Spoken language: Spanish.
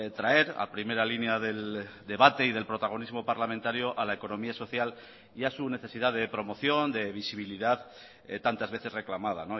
traer a primera línea del debate y del protagonismo parlamentario a la economía social y a su necesidad de promoción de visibilidad tantas veces reclamada